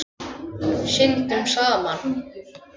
Syndum saman.